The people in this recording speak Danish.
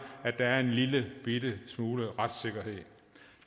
at der er en lillebitte smule retssikkerhed